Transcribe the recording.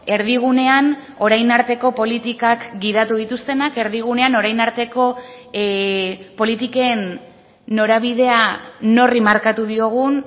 erdigunean orain arteko politikak gidatu dituztenak erdigunean orain arteko politiken norabidea norri markatu diogun